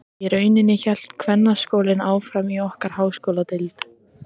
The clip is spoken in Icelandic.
Í rauninni hélt kvennaskólinn áfram í okkar háskóladeild.